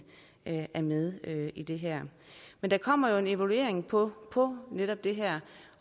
er med i det her men der kommer jo en evaluering på på netop det her